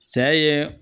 Saya ye